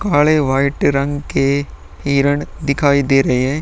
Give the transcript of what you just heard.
काले वाइट रंग के हिरण दिखाई दे रहे हैं।